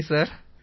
நன்றி சார்